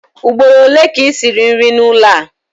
Ugboro ole ka i siri nri n'ụlọ a?